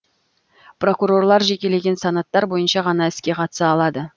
прокурорлар жекелеген санаттар бойынша ғана іске қатыса алады